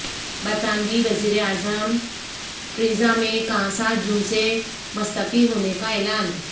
برطانوی وزیراعظم Theresa May کا سات جون سے مستعفی ہونے کا اعلان